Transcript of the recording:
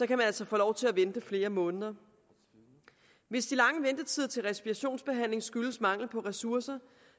kan man altså få lov til at vente flere måneder hvis de lange ventetider til respirationsbehandling skyldes mangel på ressourcer